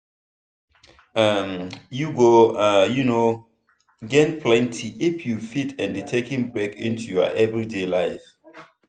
um you go um gain plenty if you fit add taking break into your everyday life.